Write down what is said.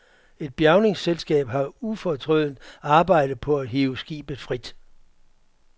Et bjærningsselskab har ufortrødent arbejdet på at hive skibet frit.